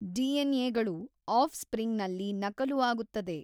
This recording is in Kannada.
ಡಿಎನ್ಏಗಳು ಆಫ್ ಸ್ಪ್ರಿಂಗ್ ನಲ್ಲಿ ನಕಲು ಆಗುತ್ತದೆ.